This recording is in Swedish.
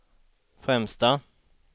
främsta